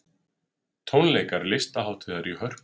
Tónleikar Listahátíðar í Hörpu